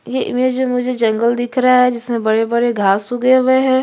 ये इमेज में मुझे जंगल दिख रहे है जिसमे बड़े -बड़े घाँस उगे हुए है।